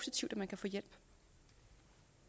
en